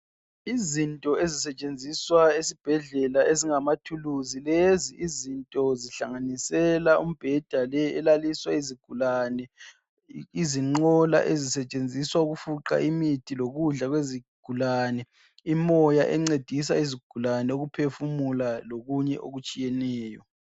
Izinto ezisetshenziswa esibhedlela ezingamathuluzi lezi izinto zihlanganisela umbheda le elaliswa izigulani, izinqola ezisetshenziswa ukufuqa imithi lokudla kwezigulane, imoya encedisa izigulane ukuphefumula lokunye okutshiyeneyo.